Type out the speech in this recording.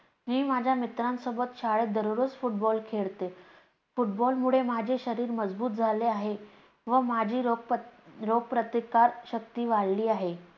मी माझ्या मित्रांसोबत शाळेत दररोज football खेळते. football मुळे माझे शरीर मजबूत झाले आहे व माझी रोग प्रतिकार शक्ती वाढली आहे.